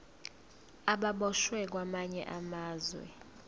ababoshwe kwamanye amazwe